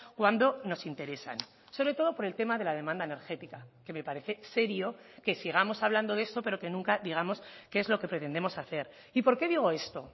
cuando nos interesan sobre todo por el tema de la demanda energética que me parece serio que sigamos hablando de eso pero que nunca digamos qué es lo que pretendemos hacer y por qué digo esto